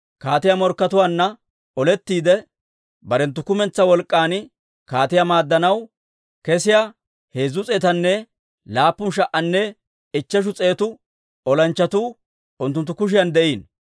Kaatiyaa morkkatuwaanna olettiide, barenttu kumentsaa wolk'k'an kaatiyaa maaddanaw kesiyaa heezzu s'eetanne laappun sha"anne ichcheshu s'eetu olanchchatuu unttunttu kushiyan de'iino.